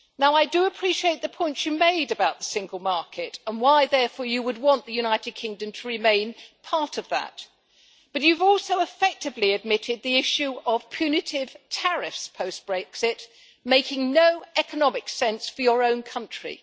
I do appreciate the point you made about the Single Market and why, therefore, you would want the United Kingdom to remain part of that, but you've also effectively admitted the issue of punitive tariffs post Brexit making no economic sense for your own country.